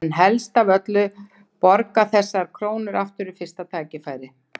En helst af öllu borga þessar krónur aftur við fyrsta tækifæri.